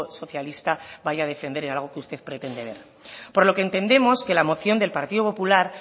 socialista vaya a defender en algo que usted pretende ver por lo que entendemos que la moción del partido popular